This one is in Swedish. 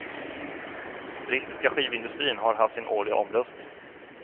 Brittiska skivindustrin har haft sin årliga omröstning.